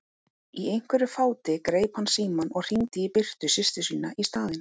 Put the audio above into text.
Í einhverju fáti greip hann símann og hringdi í Birtu systur sína í staðinn.